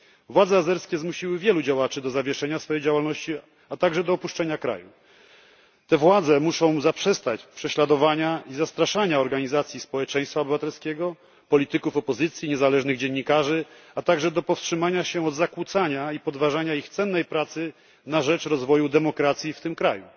Władze azerskie zmusiły wielu działaczy do zawieszenia swej działalności, a także do opuszczenia kraju. Te władze muszą zaprzestać prześladowania i zastraszania organizacji społeczeństwa obywatelskiego, polityków opozycji i niezależnych dziennikarzy, a także do powstrzymania się od zakłócania i podważania ich cennej pracy na rzecz rozwoju demokracji w tym kraju.